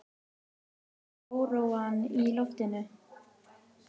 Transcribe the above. Börnin fundu óróann í loftinu.